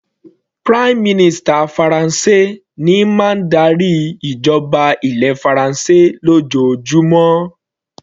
Prime minister Faransé ní máa ń darí ìjọba ilẹ̀ faransé lójoojúmó.